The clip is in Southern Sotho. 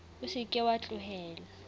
o se ke wa tlohela